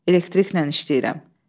Elektriklə işləyirəm.